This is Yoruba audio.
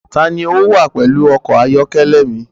Ta ni ó wà pẹ̀lú ọkọ̀-ayọ́kẹ́lẹ́ mi?